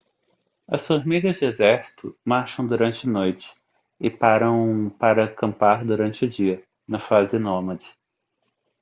as formigas de exército marcham durante noite e param para acampar durante o dia na fase nômade